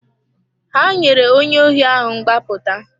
Ha nyere onye ohi ahụ mgbapụta.